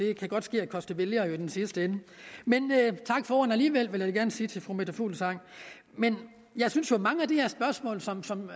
jo godt ske at koste vælgere i den sidste ende men tak for ordene alligevel vil jeg gerne sige til fru meta fuglsang jeg synes jo at mange af de her spørgsmål som som